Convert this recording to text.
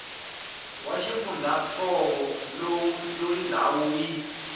wa xifundzantsongo loyi ndhawu yi